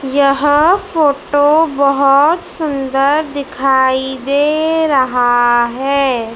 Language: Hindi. यह फोटो बहोत सुंदर दिखाई दे रहा है।